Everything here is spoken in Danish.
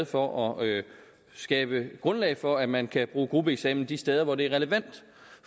for at skabe grundlag for at man kan bruge gruppeeksamen de steder hvor det er relevant